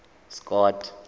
scott